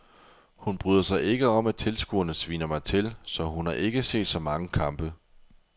Hun bryder sig ikke om at tilskuerne sviner mig til, så hun har ikke set så mange kampe.